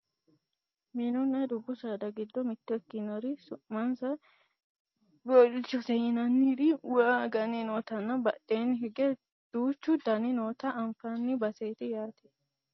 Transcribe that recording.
mininna dubbu saada giddo mitto ikkinori su'mansa boowilchote yinanniri waa aganni nootanna badheenni hige duuchu daanni noota anfannii baseeti yaate